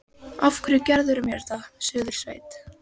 Af hverju gerirðu mér þetta, Suðursveit!